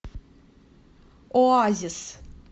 оазис